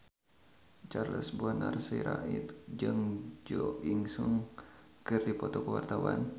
Charles Bonar Sirait jeung Jo In Sung keur dipoto ku wartawan